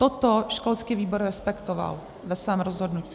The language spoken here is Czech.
Toto školský výbor respektoval ve svém rozhodnutí.